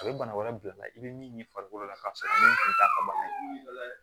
A bɛ bana wɛrɛ bila i la i bɛ min ɲini farikolo la k'a sɔrɔ min kun t'a ka bana ye